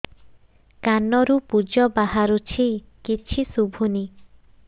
କାନରୁ ପୂଜ ବାହାରୁଛି କିଛି ଶୁଭୁନି